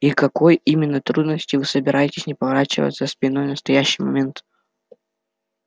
и к какой именно трудности вы собираетесь не поворачиваться спиной в настоящий момент